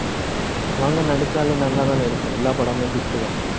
அவங்க நடிச்சாலே, நல்லாதானே இருக்கும். எல்லா படமும் hit உ தான்